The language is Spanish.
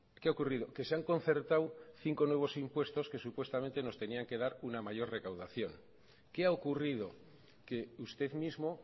qué ha ocurrido que se han concertado cinco nuevos impuestos que supuestamente nos tenían que dar una mayor recaudación qué ha ocurrido que usted mismo